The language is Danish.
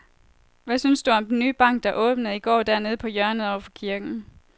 Hvad synes du om den nye bank, der åbnede i går dernede på hjørnet over for kirken?